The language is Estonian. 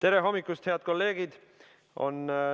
Tere hommikust, head kolleegid!